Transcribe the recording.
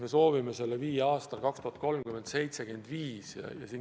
Me soovime selle 2030. aastaks viia 75%-ni.